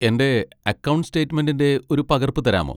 എന്റെ അക്കൗണ്ട് സ്റ്റേറ്റ്മെന്റിന്റെ ഒരു പകർപ്പ് തരാമോ?